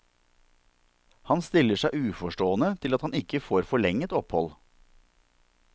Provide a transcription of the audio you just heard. Han stiller seg uforstående til at han ikke får forlenget opphold.